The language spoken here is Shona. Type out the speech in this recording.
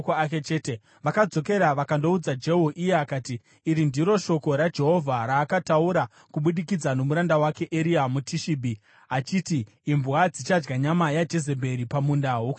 Vakadzokera vakandoudza Jehu, iye akati, “Iri ndiro shoko raJehovha raakataura kubudikidza nomuranda wake Eria muTishibhi achiti: Imbwa dzichadya nyama yaJezebheri pamunda wokuJezireeri.